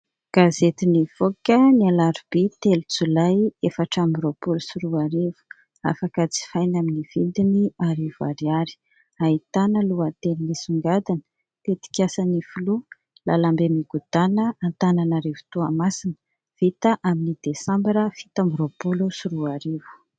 Gazety nivoaka ny alarobia telo jolay efatra amby roapolo sy roa arivo afaka jifaina amin'ny vidiny arivo ariary. Ahitana lohateny nisongadina "tetikasan'ny filoha lalambe migodana Antananarivo, Toamasina vita amin'ny desambra fito amby roapolo sy roa arivo".